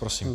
Prosím.